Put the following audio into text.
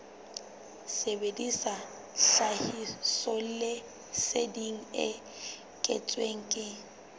sebedisa tlhahisoleseding e kentsweng ke